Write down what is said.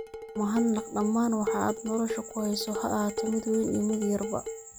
U mahad naq dhammaan waxa aad nolosha ku hayso ha ahaato mid weyn iyo mid yarba.